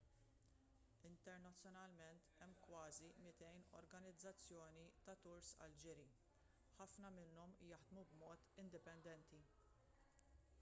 internazzjonalment hemm kważi 200 organizzazzjoni ta' turs għall-ġiri ħafna minnhom jaħdmu b'mod indipendenti